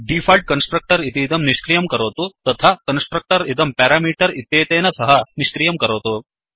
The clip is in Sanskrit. डीफाल्ट् कन्स्ट्रक्टर् इतीदं निष्क्रियं करोतु तथा कन्स्ट्रक्टर् इदं पेरामीटर् इत्यनेन सह निष्क्रियं करोतु